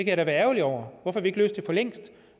jeg da være ærgerlig over hvorfor har vi ikke løst det for længst